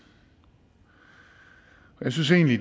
jeg synes egentlig